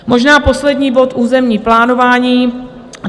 Možná poslední bod - územní plánování.